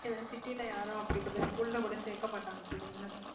ஏன்னா city ல யாரும் அப்படிப்பட்ட school ல கூட சேர்க்கமாட்டாங்க பிள்ளைங்கள